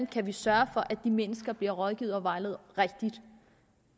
kan sørge for at de mennesker bliver rådgivet og vejledt rigtigt